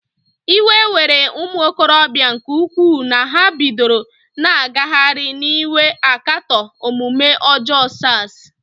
Iwe were ụmụokorobịa nke ukwuu na ha bidoro na-agagharị n'iwe akatọ omume ọjọọ SARs.